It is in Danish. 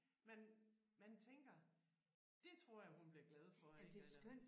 Man man tænker det tror jeg hun bliver glad for ik eller